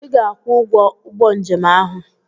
Ị ga-akwụ ụgwọ ụgbọ njem ahụ!